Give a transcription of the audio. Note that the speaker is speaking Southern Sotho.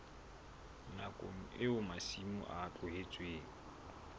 nakong eo masimo a tlohetsweng